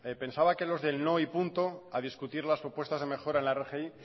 pensaba que los que el no y punto a discutir las propuestas de mejora en la rgi